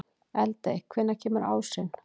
Eldey, hvenær kemur ásinn?